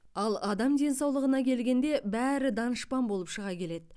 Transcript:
ал адам денсаулығына келгенде бәрі данышпан болып шыға келеді